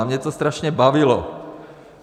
A mě to strašně bavilo.